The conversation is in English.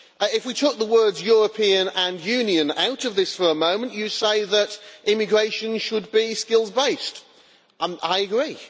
If we took the words European' and Union' out of this for a moment, Commissioner, you say that immigration should be skills based I agree.